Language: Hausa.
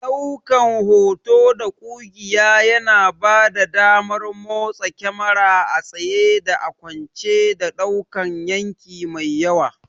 Ɗaukan hoto da ƙugiya yana bada damar motsa kyamara a tsaye da a kwance, da ɗaukan yanki mai yawa.